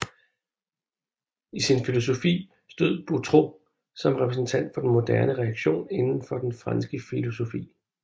I sin filosofi stod Boutroux som repræsentant for den moderne reaktion inden for den franske filosofi